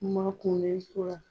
N makunen tora